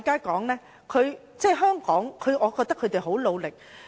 我認為香港警察已很努力。